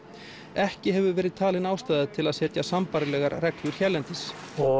ekki hefur verið talin ástæða til að setja sambærilegar reglur hérlendis